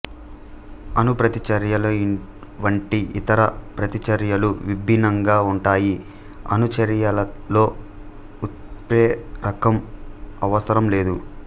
అణు ప్రతిచర్యల వంటి ఇతర ప్రతిచర్యలు విభిన్నంగా ఉంటాయి అణు చర్యలలో ఉత్ప్రేరకం అవసరం లేదు